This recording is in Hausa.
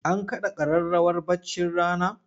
An kaɗa ƙararrawar baccin rana?